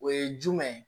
O ye jumɛn ye